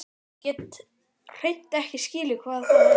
Ég get hreint ekki skilið hvað það er.